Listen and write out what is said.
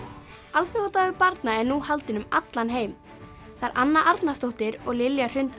alþjóðadagur barna er nú haldinn um allan heim þær Anna Arnarsdóttir og Lilja Hrund